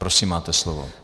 Prosím, máte slovo.